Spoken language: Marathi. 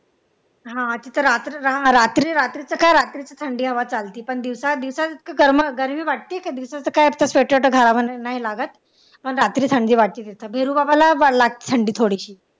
हा तिथे रात्रीचा रात्रीचा काय रात्रीचा थंडावा चालते पण दिवसा इतके गरम या ते किती दिवसाचा काय लागत रात्री थंडी वाटते बिरू बाबाला लागते थंडी थोडीशी